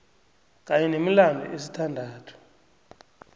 kanye nemilandu esithandathu